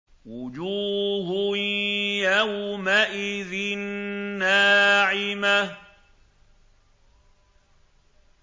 وُجُوهٌ يَوْمَئِذٍ نَّاعِمَةٌ